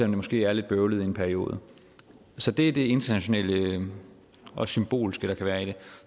det måske er lidt bøvlet i en periode så det er det internationale og symbolske der kan være i det